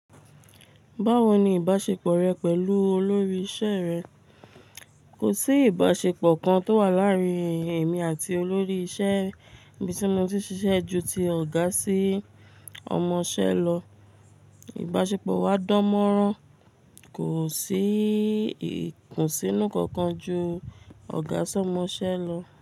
Báwo ni ìbáṣepọ̀ rẹ pẹ̀lú olórí iṣẹ́ rẹ? Kò sí ìbáṣepọ̀ kan tó wà láàárín èmi àti olórí ìṣe bí tí mo ti ṣiṣẹ́ ju ti ọ̀gá sí ọmọṣẹ́ lọ. Ìbáṣepọ̀ wa dánmọ́rán, kò sí ìkùnsínú kankan ju ọ̀gá sí ọmọṣẹ́ lọ.